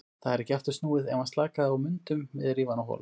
Það er ekki aftur snúið, ef hann slakaði á mundum við rífa hann á hol.